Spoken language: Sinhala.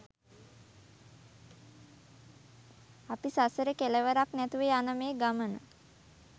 අපි සසරේ කෙළවරක් නැතුව යන මේ ගමන